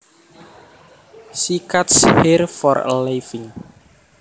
She cuts hair for a living